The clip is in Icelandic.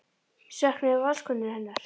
Söknuðu Valskonur hennar?